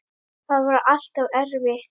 Það var alltaf erfitt.